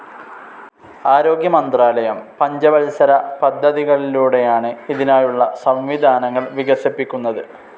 ആരോഗ്യമന്ത്രാലയം പഞ്ചവത്സര പദ്ധതികളിലൂടെയാണ് ഇതിനായുള്ള സംവിധാനങ്ങൾ വികസിപ്പിക്കുന്നത്.